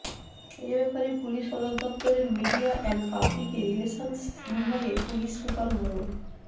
এ ব্যাপারে পুলিশ সদর দফতরের মিডিয়া অ্যান্ড পাবলিকে রিলেশন্স বিভাগের পুলিশ সুপার মো